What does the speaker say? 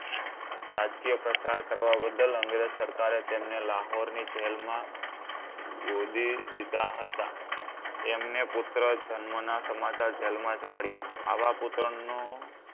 રાજકીય પ્રચાર કરવા બદલ અંગ્રેજ સરકારે તેમને લાહોરની જેલ માં ગોદી દીધા હતા. એમને પુત્ર જન્મના સમાચાર જેલમાં જ મળ્યા. આવા પુત્રનું